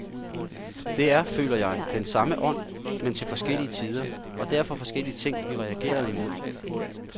Det er, føler jeg, den samme ånd, men til forskellige tider, og derfor forskellige ting vi reagerede imod.